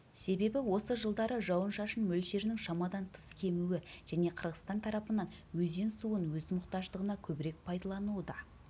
себебі осы жылдары жауын-шашын мөлшерінің шамадан тыс кемуі және қырғызстан тарапынан өзен суын өз мұқтаждығына көбірек пайдалануы да